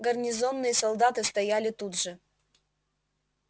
гарнизонные солдаты стояли тут же